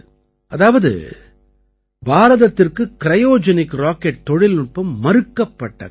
அதாவது பாரதத்திற்கு cryogenic rocket தொழில்நுட்பம் மறுக்கப்பட்ட காலம்